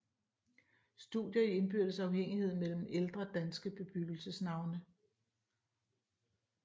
Studier i indbyrdes afhængighed mellem ældre danske bebyggelsesnavne